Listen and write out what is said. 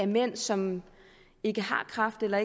mænd som ikke har kræft eller